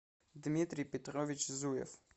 дмитрий петрович зуев